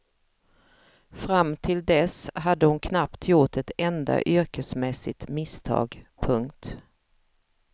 Fram till dess hade hon knappt gjort ett enda yrkesmässigt misstag. punkt